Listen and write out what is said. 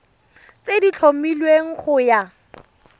tse di tlhomilweng go ya